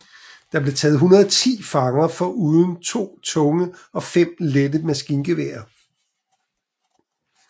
Der blev taget 110 fanger foruden to tunge og fem lette maskingeværer